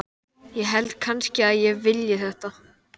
ég held kannski að ég vilji þetta.